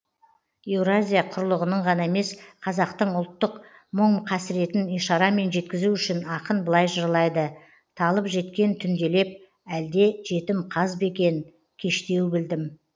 еуразия құрлығының ғана емес қазақтың ұлттық мұң қасіретін ишарамен жеткізу үшін ақын былай жырлайды талып жеткен түнделеп әлде жетім қаз ба екен кештеу білдім